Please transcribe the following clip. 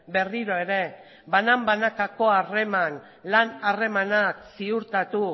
berriro ere banan banakako lan harremanak ziurtatu